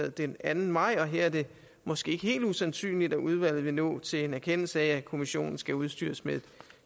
den anden maj og her er det måske ikke helt usandsynligt at udvalget vil nå til en erkendelse af at kommissionen skal udstyres med et